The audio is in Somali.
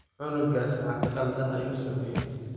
Cunugas maxa qaldan ayusumeye.